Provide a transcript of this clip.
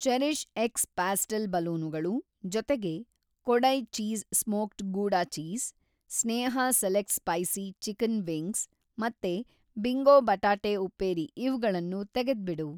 CherishX pastel ಬಲೂನುಗಳು ಜೊತೆಗೆ Kodai cheese smoked gouda cheese, Sneha select spicy chicken wings ಮತ್ತೆ Bingo ಬಟಾಟೆ ಉಪ್ಪೇರಿ ಇವ್ಗಳನ್ನೂ ತೆಗೆದ್ಬಿಡು.